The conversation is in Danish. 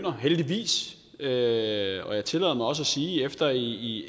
heldigvis og jeg tillader mig også at sige efter i